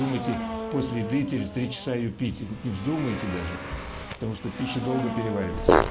думайте после еды через три часа её пить не вздумайте даже потому что пища долго переваривается